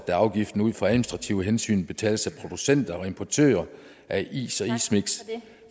at afgiften ud fra administrative hensyn betales af producenter og importører af is og ismiks